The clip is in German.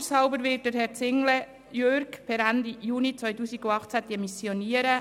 Altershalber wird Herr Jürg Zinglé per Ende Juni 2018 demissionieren.